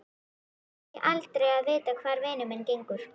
Fæ aldrei að vita hvar vinur minn gengur.